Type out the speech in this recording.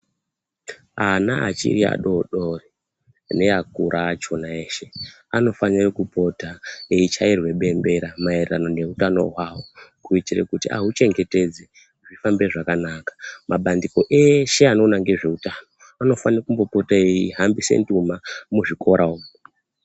Ana achiri adodori neakura achona eshe anofane kupota eichairwe bembera maererano neutano hwao kuitire kuti ahuchengetedze zviite zvakanaka mabandiko eshe anoona ngezveutano anofano kumbopota eihambise nduma muzvikora umu.